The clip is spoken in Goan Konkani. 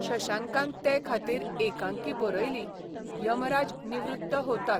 शशांकान ते खातीर एकांकी बरयली यमराज निवृत्त होतात.